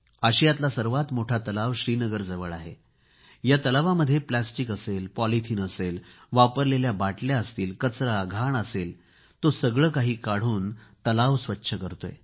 आशियातला सर्वात मोठा तलाव श्रीनगरजवळ आहे या तलावामध्ये प्लॅस्टिक असेल पॉलिथीन असेल वापरलेल्या बाटल्या असतील कचरा घाण असेल तो सगळे काही काढून तलाव स्वच्छ करतोय